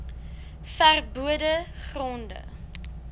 ver bode gronde